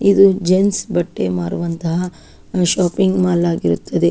ಇದು ಜನ್ಸ್ ಬಟ್ಟೆ ಮಾರುವಂಥ ಶಾಪಿಂಗ್ ಮಾಲ್ ಆಗಿರುತ್ತದೆ-